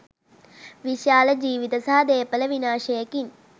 විශාල ජීවිත සහ දේපල විනාශයකින්